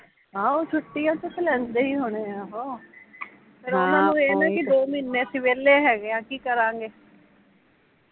ਆਹੋ ਛੁੱਟੀਆ ਚ ਤਾਂ ਲੈਂਦੇ ਹੀਂ ਹੋਣੇ ਓਹ , ਫੇਰ ਓਹਨਾਂ ਨੂ ਏਹ ਨਾ ਵੀ ਦੋ ਮਹੀਨੇ ਅਸੀਂ ਵੇਹਲੇ ਹੈਗੇ ਆ, ਕੀ ਕਰਾਂਗੇ?